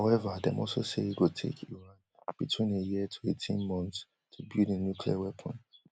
however dem also say e go take iran between a year to eighteen months to build a nuclear weapon